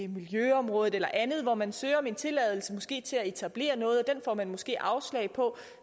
miljøområdet eller andet hvor man søger om tilladelse måske til at etablere noget den får man måske afslag på